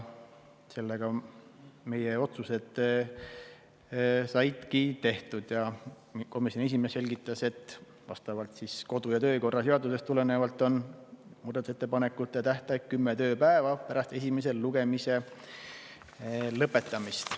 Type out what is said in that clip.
Seega saidki meie otsused tehtud ning komisjoni esimees selgitas, et kodu- ja töökorra seaduse kohaselt on muudatusettepanekute tähtaeg kümme tööpäeva pärast esimese lugemise lõpetamist.